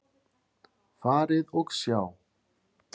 Farið og sjá!